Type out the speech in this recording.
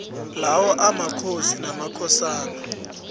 lawo amakhosi namakhosana